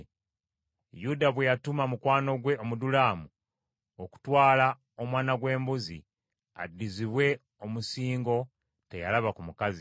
Yuda bwe yatuma mukwano gwe Omudulamu, okutwala omwana gw’embuzi, addizibwe omusingo teyalaba ku mukazi.